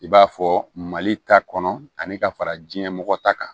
I b'a fɔ mali ta kɔnɔ ani ka fara diɲɛ mɔgɔ ta kan